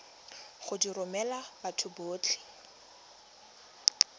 go di romela batho botlhe